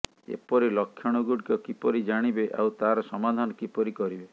ଏପରି ଲକ୍ଷଣଗୁଡିକ କିପରି ଜାଣିବେ ଆଉ ତାର ସମାଧାନ କିପରି କରିବେ